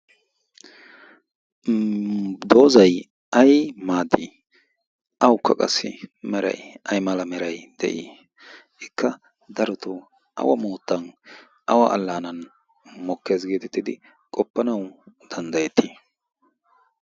Doozayi ay maaddii awukka qassi merayi ay mala merayi de'ii? Ikka darotoo awa moottan awa allaanan mokkes geetettidi qoppanawu danddatettii?